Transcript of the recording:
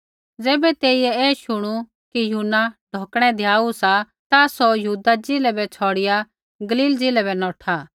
ज़ैबै तेइयै ऐ शुणू कि यूहन्ना ढौकणै द्याऊ सा ता सौ यहूदा ज़िलै बै छ़ौड़िआ गलील ज़िलै बै नौठा